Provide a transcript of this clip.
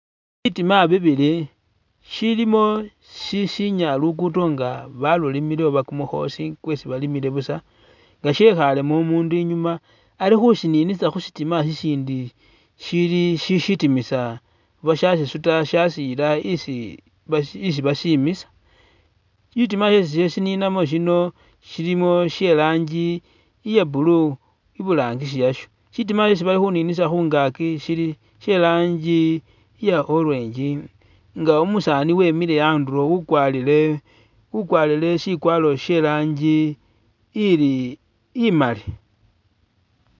Bitima bibili shilimo shi shinya lugudo nga balulimile oba kumukhoosi kwesi balimile busa nga shekhaalemo umundu i'nyuma Ali khushininisa khushitima shishindi shili shi sitimisa oba sha sisuta shasiyila isi basimisa, shitima isi shesi khasininamo shino shilimo she'rangi iya blue I'burangisi yasho, sitima shesi bali khuninisa khungaki sheli she'rangi iya orange nga umusaani wemile a'ndulo ukwalire akwalire shikwaro she'rangi ili imaali